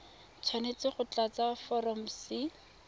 tshwanetse go tlatsa foromo c